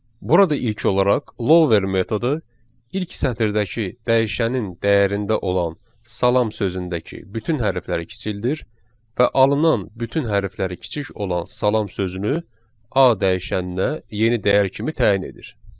Burada ilk olaraq lower metodu ilk sətirdəki dəyişənin dəyərində olan salam sözündəki bütün hərfləri kiçildir və alınan bütün hərfləri kiçik olan salam sözünü A dəyişəninə yeni dəyər kimi təyin edir.